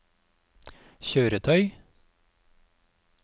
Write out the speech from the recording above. kjøretøy